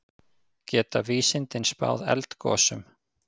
Geta vísindin spáð eldgosum?